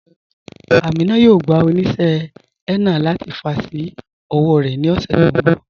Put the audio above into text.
Amina yóò gbà oníṣẹ̀ henna láti fà sí ọwọ̀ rẹ ni ọṣẹ̀ tó nbọ̀.